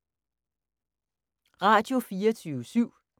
Radio24syv